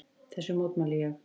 Þessu mótmælti ég.